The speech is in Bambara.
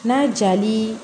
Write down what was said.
N'a jali